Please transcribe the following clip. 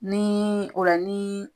Ni o la ni